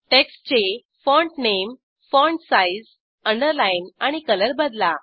टेक्स्टचे font name font size underline आणि colour बदला